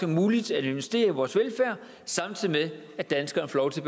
muligt at investere i vores velfærd samtidig med at danskerne får lov til